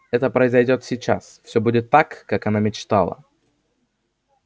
это произойдёт сейчас всё будет так как она мечтала